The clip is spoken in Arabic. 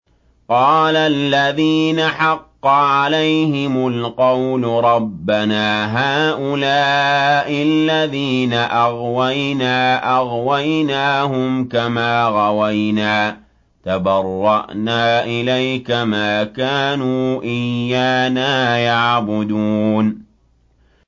قَالَ الَّذِينَ حَقَّ عَلَيْهِمُ الْقَوْلُ رَبَّنَا هَٰؤُلَاءِ الَّذِينَ أَغْوَيْنَا أَغْوَيْنَاهُمْ كَمَا غَوَيْنَا ۖ تَبَرَّأْنَا إِلَيْكَ ۖ مَا كَانُوا إِيَّانَا يَعْبُدُونَ